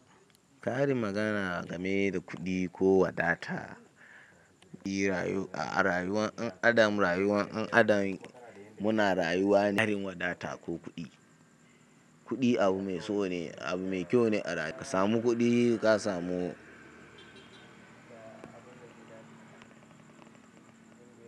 Karin mafana game da kuɗi ko wadata, a rayuwar dan adam, muna rayuwa ne wadata ko kuɗi kuɗi abu mai so ne, abu mai kyau ne a ka samu kuɗi ka samu.